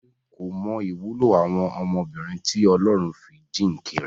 Fẹ́mi kò mọ ìwúlò àwọn ọmọbìnrin tí Ọlọ́run fi jíǹkì rẹ̀.